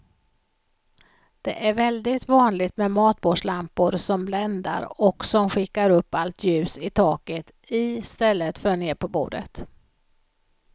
Det är väldigt vanligt med matbordslampor som bländar och som skickar upp allt ljus i taket i stället för ner på bordet.